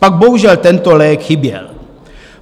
Pak bohužel tento lék chyběl.